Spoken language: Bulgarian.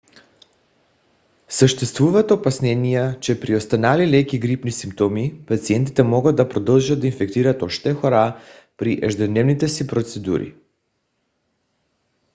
съществуват опасения че при останали леки грипни симптоми пациентите могат да продължат да инфектират още хора при ежедневните си процедури